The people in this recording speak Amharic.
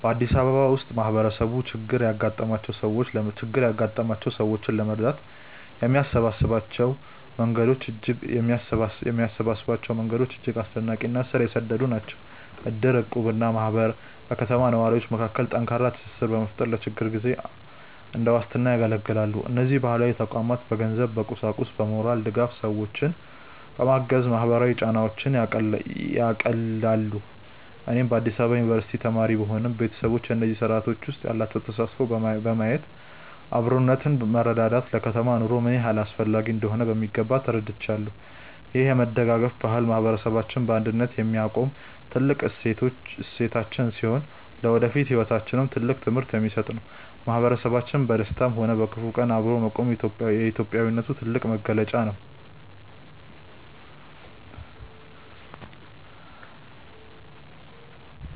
በአዲስ አበባ ውስጥ ማህበረሰቡ ችግር ያጋጠማቸውን ሰዎች ለመርዳት የሚሰበሰብባቸው መንገዶች እጅግ አስደናቂ እና ስር የሰደዱ ናቸው። እድር፣ እቁብ እና ማህበር በከተማው ነዋሪዎች መካከል ጠንካራ ትስስር በመፍጠር ለችግር ጊዜ እንደ ዋስትና ያገለግላሉ። እነዚህ ባህላዊ ተቋማት በገንዘብ፣ በቁሳቁስና በሞራል ድጋፍ ሰዎችን በማገዝ ማህበራዊ ጫናዎችን ያቃልላሉ። እኔም በአዲስ አበባ ዩኒቨርሲቲ ተማሪ ብሆንም፣ ቤተሰቦቼ በእነዚህ ስርአቶች ውስጥ ያላቸውን ተሳትፎ በማየት አብሮነትና መረዳዳት ለከተማ ኑሮ ምን ያህል አስፈላጊ እንደሆኑ በሚገባ ተረድቻለሁ። ይህ የመደጋገፍ ባህል ማህበረሰባችንን በአንድነት የሚያቆም ታላቅ እሴታችን ሲሆን፣ ለወደፊት ህይወታችንም ትልቅ ትምህርት የሚሰጥ ነው። ማህበረሰቡ በደስታም ሆነ በክፉ ቀን አብሮ መቆሙ የኢትዮጵያዊነት ትልቁ መገለጫ ነው።